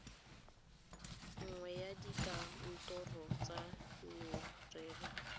nngwe ya dikantoro tsa merero